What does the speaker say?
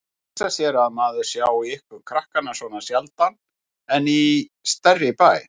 Hugsa sér að maður sjái ykkur krakkana svona sjaldan í ekki stærri bæ.